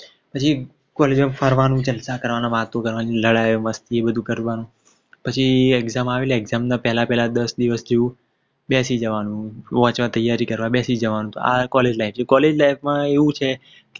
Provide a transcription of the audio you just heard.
પછી College માં ફરવાનું જલસા કરવાના વાતું કરવાની લડાઈ મસ્તી એ બધું કરવાનું પછી Exam આવે એટલે Exam ના પેહલા દસ દિવશ જેવું બેસી જવાનું વાંચવા ત્યારી કરવા બેસી જવાનું તો આ College life છે. College life માં એવું છે